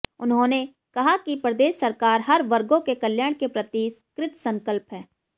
उन्होंने कहा कि प्रदेश सरकार हर वर्गों के कल्याण के प्रति कृतसंकल्प है